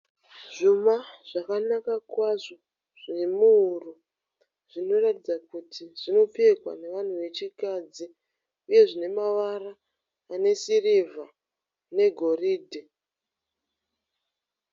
Zvuma zvakanaka kwazvo zvemuhuro zvinoratidza kuti zvinopfekwa nevanhu vechikadzi uye zvine mavara ane sirivha negoridhe.